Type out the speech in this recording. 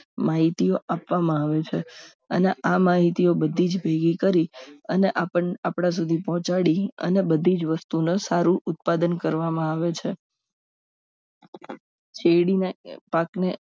માહિતીઓ આપવામાં આવે છે અને આ માહિતીઓ બધી જ ભેગી કરી અને આપણને આપણા સુધી પહોંચાડી અને બધી જ વસ્તુઓને સારું ઉત્પાદન કરવામાં આવે છે શેરડીના પાકને